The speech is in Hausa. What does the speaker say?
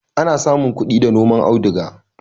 Ana samun kudi da noman auduga